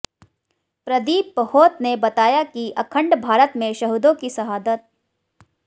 प्रदीप बहोत ने बताया कि अखंड भारत में शहीदों की शहादत